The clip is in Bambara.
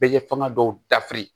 Bɛ fanga dɔw dafiri